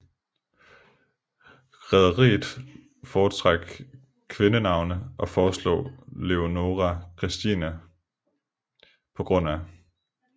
Rederiet foretrak kvindenavne og foreslog Leonora Christina pga